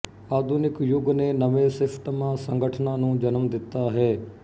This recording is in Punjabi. ਆਧੁਨਿਕ ਯੁੱਗ ਦੇ ਨਵੇਂ ਸਿਸਟਮਾਂ ਸੰਗਠਨਾਂ ਨੂੰ ਜਨਮ ਦਿੱਤਾ ਹੈ